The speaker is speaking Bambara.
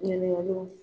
Ɲininkaliw